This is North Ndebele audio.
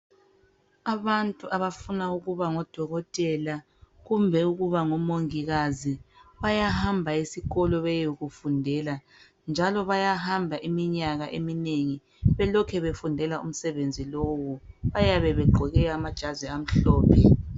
Abantu abafuna ukuba ngodokotela kumbe omongikazi. Bayahamba esikolo beyekufundela njalo bayahamba iminyaka eminengi belokhu befundela umsebenzi lowu, bayabe begqoke amajazi amhlophe.